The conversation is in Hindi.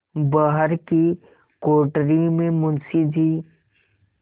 बाहर की कोठरी में मुंशी जी